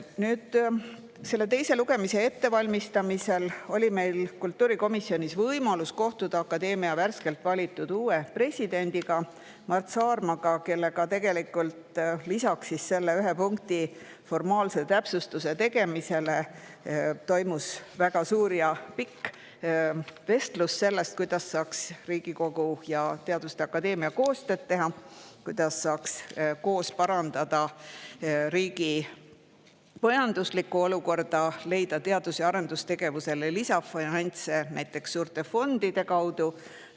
Nüüd, teise lugemise ettevalmistamisel oli meil kultuurikomisjonis võimalus kohtuda akadeemia värskelt valitud uue presidendiga, Mart Saarmaga, kellega tegelikult lisaks selle ühe punkti formaalse täpsustuse tegemisele toimus väga pikk vestlus sellest, kuidas saaks Riigikogu ja teaduste akadeemia koostööd teha: kuidas saaks koos parandada riigi majanduslikku olukorda, leida teadus- ja arendustegevusele lisafinantse, näiteks suurte fondide kaudu.